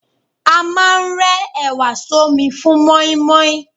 A máà ń rẹ ẹ̀wà sọ́mi fún mọ́ímọ́í.